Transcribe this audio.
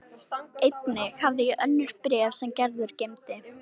Einnig hafði ég önnur bréf sem Gerður geymdi.